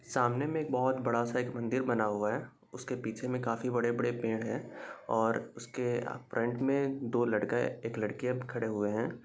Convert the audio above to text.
सामने में एक बोहोत बड़ा सा एक मंदिर बना हुआ है। उसके पीछे में काफी बड़े-बड़े पेड़ है और उसके फ्रंट में दो लड़का एक लडकी खड़े हए है।